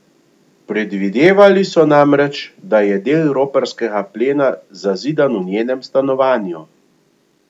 Predvidevali so namreč, da je del roparskega plena zazidan v njenem stanovanju.